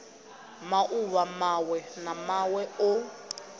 mauvha mawe na mawe o